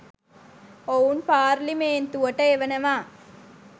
ඔවුන් පාර්ලිමේන්තුවට එවනවා.